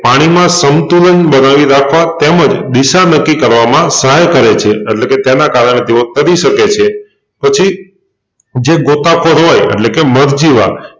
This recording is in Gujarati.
પાણીમાં સંતુલન બનાવી રાખવા તેમજ દિશા નક્કી કરવામાં સહાય કરે છે અટલેકે તેના કારણે તેઓ તરી સકે છે પછી જે ગોતા ખોર હોય અટલેકે મરજીવા